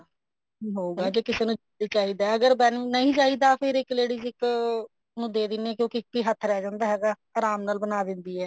ਹੋਊਗਾ ਜੇ ਕਿਸੇ ਨੂੰ ਚਾਹੀਦਾ ਅਗਰ ਸਾਨੂੰ ਨਹੀਂ ਚਾਹੀਦਾ ਫ਼ਰ ਇੱਕ ladies ਇੱਕ ਨੂੰ ਦੇ ਦਿਨੇ ਆ ਕਿਉਂਕਿ ਇੱਕੋ ਹੱਥ ਰਿਹ ਜਾਂਦਾ ਹੁੰਦਾ ਆਰਾਮ ਨਾਲ ਬਣਾ ਦਿੰਦੀ ਹੈ